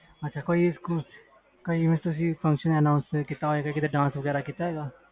ਅੱਛਾ ਕੋਈ ਸਕੂਲ ਵਿਚ function announcement ਕੀਤਾ ਹੋਵੇ ਜਿਸ ਵੀ ਤੁਸੀ dance ਕੀਤਾ ਹੋਵੇ